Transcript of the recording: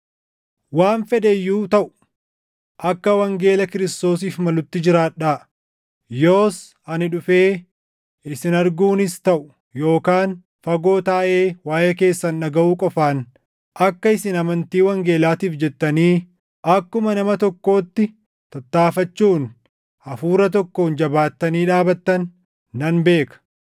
Waan fedhe iyyuu taʼu akka wangeela Kiristoosiif malutti jiraadhaa. Yoos ani dhufee isin arguunis taʼu yookaan fagoo taaʼee waaʼee keessan dhagaʼuu qofaan, akka isin amantii wangeelaatiif jettanii akkuma nama tokkootti tattaaffachuun hafuura tokkoon jabaattanii dhaabattan nan beeka.